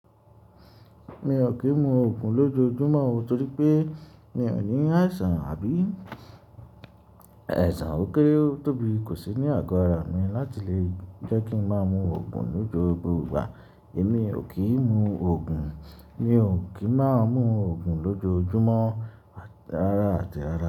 Mi ò kì í mu òògùn lójoojúmọ́, torí pé mi ò ní àìsàn àbí ẹ̀sàn òkè tóbi, kò sì ní àgọ́ ara mi láti lè jẹ́ kí ń máa mu òògùn nigbogbo gba. Èmi ò kí ń mu òògùn, mi ò kì í máa mu òògùn lójoojúmọ́ rárá àti rárá.